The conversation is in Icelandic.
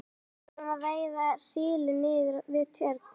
Við erum að veiða síli niður við Tjörn.